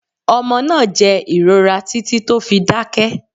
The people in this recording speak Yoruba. Omo naa jẹ ìrora titi to fi dákẹ́